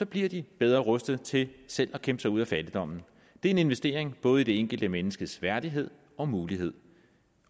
bliver de bedre rustet til selv at kæmpe sig ud af fattigdommen det er en investering i både det enkelte menneskes værdighed og mulighed